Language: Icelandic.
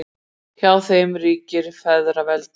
hjá þeim ríkir feðraveldi